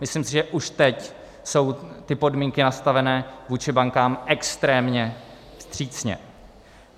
Myslím si, že už teď jsou ty podmínky nastavené vůči bankám extrémně vstřícné.